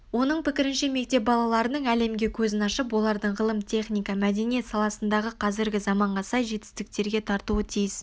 оның пікірінше мектеп балаларының әлемге көзін ашып оларды ғылым техника мәдениет саласындағы қазіргі заманға сай жетістіктерге тартуы тиіс